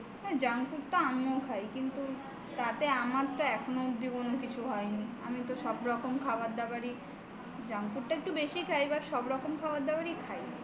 junk food তো আমিও খাই কিন্তু তাতে আমার কোন কিছুই হয়নি আমি সব রকম খাবার দাবারই junk food টা একটু বেশি খাই